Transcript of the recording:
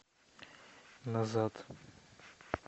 назад